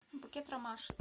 букет ромашек